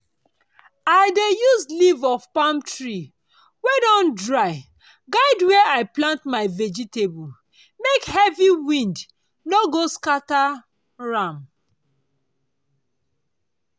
i dey use leaf of palm tree wey don dry guide where i plant my vegetable make heavy wind no go scatter am.